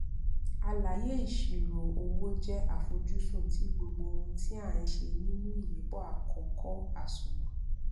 àlàyé ìṣirò owó jẹ àfojúsùn ti gbogbo ohun tí a n se nínú ìyípo àkókò àsùnwòn